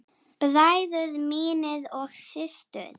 Bræður mínir og systur.